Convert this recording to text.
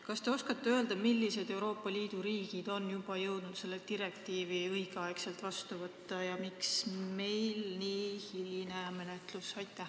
Kas te oskate öelda, millised Euroopa Liidu riigid on jõudnud selle direktiivi õigel ajal vastu võtta ja miks meie menetlus nii hiline on?